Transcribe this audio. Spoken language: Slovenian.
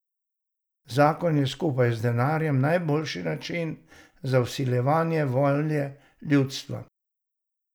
Zakon je skupaj z denarjem najboljši način za vsiljevanje volje ljudstvu.